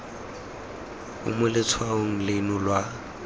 o mo letshwaong leno lwa